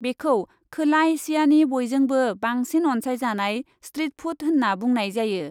बेखौ खोला एसियानि बयजोंबो बांसिन अनसाइजानाय स्ट्रिट फुड होन्ना बुंनाय जायो।